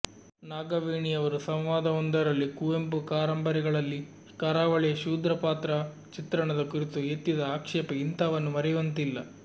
ನಾಗವೇಣಿಯವರು ಸಂವಾದವೊಂದರಲ್ಲಿ ಕುವೆಂಪು ಕಾರಂಬರಿಗಳಲ್ಲಿ ಕರಾವಳಿಯ ಶೂದ್ರ ಪಾತ್ರ ಚಿತ್ರಣದ ಕುರಿತು ಎತ್ತಿದ ಆಕ್ಷೇಪ ಇಂಥವನ್ನು ಮರೆಯುವಂತಿಲ್ಲ